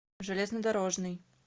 железнодорожный